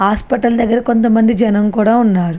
Hospital దగ్గర కొంత మంది జనం కూడా ఉన్నారు.